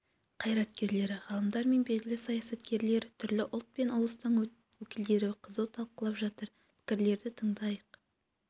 қайраткерлері ғалымдар мен белгілі саясаткерлер түрлі ұлт пен ұлыстың өкілдері қызу талқылап жатыр пікірлерді тыңдайық